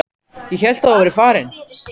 Ég hélt að þú værir farin.